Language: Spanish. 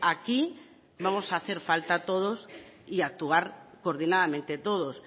aquí vamos a hacer falta todos y actuar coordinadamente todos